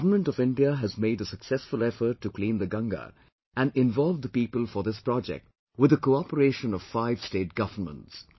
Government of India has made a successful effort to clean the Ganga and involve the people for this project with the cooperation of five State governments